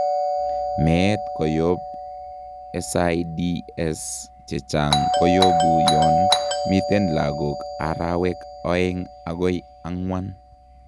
Meet koyob SIDS chechang' koyubu yoon miten lagok arawek oeng' akoi angwan